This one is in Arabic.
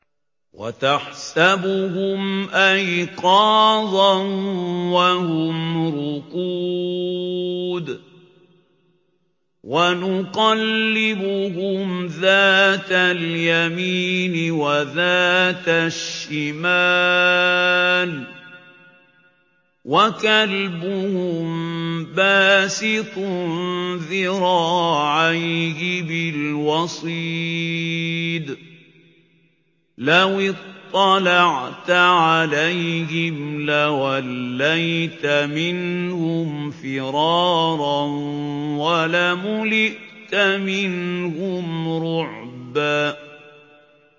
وَتَحْسَبُهُمْ أَيْقَاظًا وَهُمْ رُقُودٌ ۚ وَنُقَلِّبُهُمْ ذَاتَ الْيَمِينِ وَذَاتَ الشِّمَالِ ۖ وَكَلْبُهُم بَاسِطٌ ذِرَاعَيْهِ بِالْوَصِيدِ ۚ لَوِ اطَّلَعْتَ عَلَيْهِمْ لَوَلَّيْتَ مِنْهُمْ فِرَارًا وَلَمُلِئْتَ مِنْهُمْ رُعْبًا